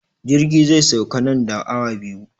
Jirgi zai sauka nan da awa biyu.